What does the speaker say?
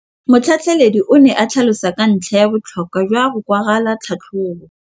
Motlhatlheledi o ne a tlhalosa ka ntlha ya botlhokwa jwa go kwala tlhatlhôbô.